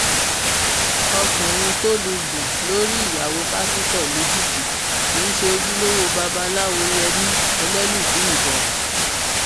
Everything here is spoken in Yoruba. ọkùnrin tó lù gún lórí ìyàwó pásítọ lẹkìtì kì í ṣe ojúlówó babaláwoyemí elébùíbọn